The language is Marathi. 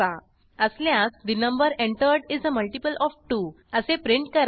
असल्यास the number entered is a multiple of 2 असे प्रिंट करा